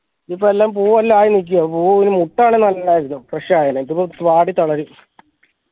ഇതിപ്പോ എല്ലാം പൂവെല്ലാം ആയി നിക്ക പൂവൊരു ആണേ നല്ലതായിരുന്നു fresh ആയേനെ ഇതിപ്പോ വാടി തളരും